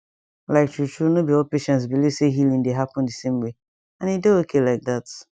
like true true no be all patients believe say healing dey happen the same way and e dey okay like that